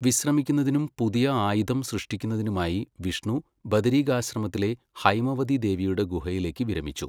വിശ്രമിക്കുന്നതിനും പുതിയ ആയുധം സൃഷ്ടിക്കുന്നതിനുമായി, വിഷ്ണു ബദരീകാശ്രമത്തിലെ ഹൈമവതി ദേവിയുടെ ഗുഹയിലേക്ക് വിരമിച്ചു.